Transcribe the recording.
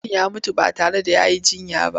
Mutum ya mutu ba tare da ya yi jinya ba.